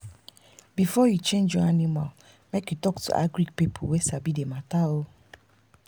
before you change your animal make you talk to agric people wey sabi the matter.